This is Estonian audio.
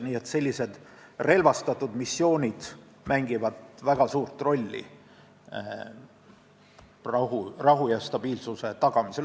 Nii et relvastatud missioonid mängivad väga suurt rolli rahu ja stabiilsuse tagamisel.